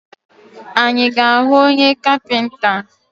Anyị ga ahụ onye kapinta?